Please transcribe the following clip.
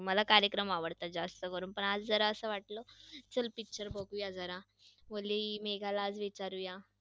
मला कार्यक्रम आवडतात जास्त करून. पण आज जरासं वाटलं चल picture बघूया जरा, बोलली मेघाला आज विचारुया.